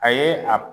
A ye a